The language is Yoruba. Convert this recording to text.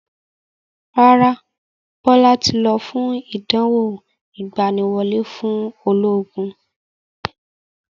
Rárá, Bọlá tí lọ fún ìdánwò ìgbàníwọlé fún ológun